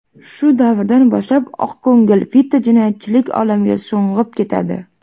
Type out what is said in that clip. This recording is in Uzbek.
Shu davrdan boshlab oqko‘ngil Vito jinoyatchilik olamiga sho‘ng‘ib ketadi.